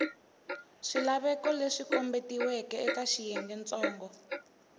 swilaveko leswi kombetiweke eka xiyengentsongo